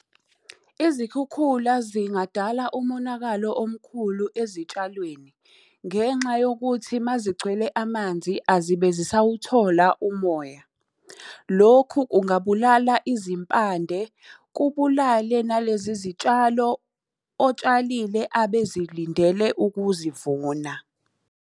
Izikhukhula zingadala umonakalo omkhulu ezitshalweni, ngenxa yokuthi uma zigcwele amanzi azibe zisawuthola umoya. Lokhu ungabulala izimpande, kubulale nalezi zitshalo otshalile abezilindele ukuzivuna.